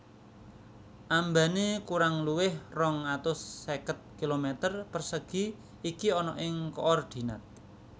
Ambane kurang luwih rong atus seket kilometer persegi iki ana ing koordinat